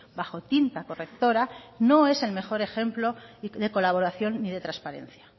bajo tinta correctora no es el mejor ejemplo de colaboración ni de transparencia